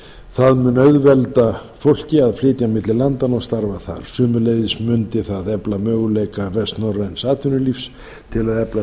það mun auðvelda fólki að flytja milli landanna og starfa þar sömuleiðis mundi það efla möguleika vestnorræns atvinnulífs til að efla